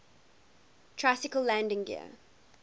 tricycle landing gear